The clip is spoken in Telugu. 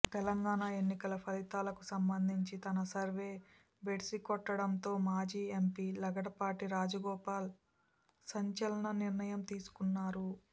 తెలంగాణ ఎన్నికల ఫలితాలకు సంబంధించి తన సర్వే బెడిసికొట్టడంతో మాజీ ఎంపీ లగడపాటి రాజగోపాల్ సంచ లన నిర్ణయం తీసుకున్నారు